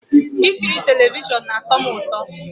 Ikiri telivishọn na-atọ m ụtọ